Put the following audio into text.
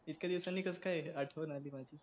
इतक्या दिवसांनी कस काय आठवण आली माझी